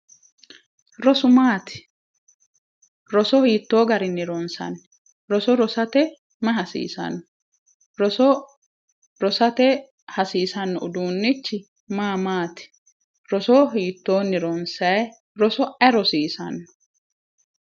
Rosu maati roso hiittoo garinni ronsanni? roso rosate mayi hasiisanno? roso rosate hasiisanno uduunnichi maa maati? roso hiittoonni ronsayi? roso ayi rosiisanno?